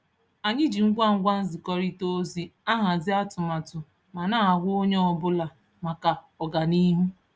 Anyị ji ngwa ngwa nzikọrịta ozi ahazi atụmatụ ma na-agwa onye ọbụla maka ọganiihu